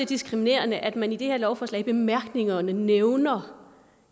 diskriminerende at man i det her forslag i bemærkningerne nævner